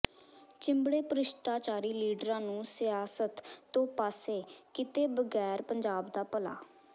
ਚਿੰਬੜੇ ਭ੍ਰਿਸ਼ਟਾਚਾਰੀ ਲੀਡਰਾਂ ਨੂੰ ਸਿਆਸਤ ਤੋਂ ਪਾਸੇ ਕੀਤੇ ਬਗੈਰ ਪੰਜਾਬ ਦਾ ਭਲਾ